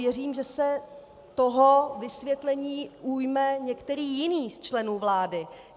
Věřím, že se toho vysvětlení ujme některý jiný z členů vlády.